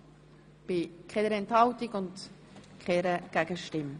Wir kommen zur Genehmigung der Sportfonds-Jahresrechnung 2016.